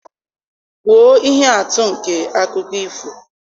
Kwuo ihe atụ nke akụkọ ifo